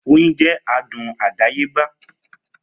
Oyin jẹ adùn àdáyébá